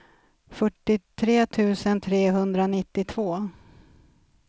fyrtiotre tusen trehundranittiotvå